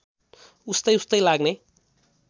उस्तै उस्तै लाग्ने